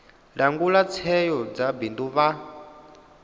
langula tsheo dza bindu vha